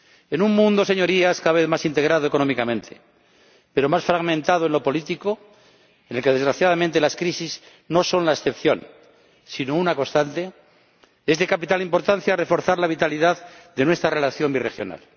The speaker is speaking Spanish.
En un mundo, Señorías, cada vez más integrado económicamente, pero más fragmentado en lo político, en el que desgraciadamente las crisis no son la excepción, sino una constante, es de capital importancia reforzar la vitalidad de nuestra relación birregional.